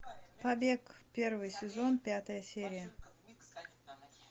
побег первый сезон пятая серия